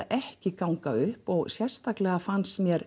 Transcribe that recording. ekki ganga upp og sérstaklega fannst mér